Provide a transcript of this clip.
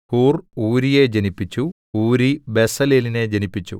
who are ഊരിയെ ജനിപ്പിച്ചു Uri ബെസലേലിനെ ജനിപ്പിച്ചു